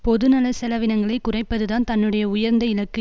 பொதுநல செலவினங்களை குறைப்பதுதான் தன்னுடைய உயர்ந்த இலக்கு